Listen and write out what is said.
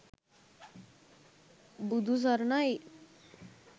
budu saranai